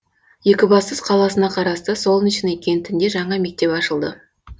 екібастұз қаласына қарасты солнечный кентінде жаңа мектеп ашылды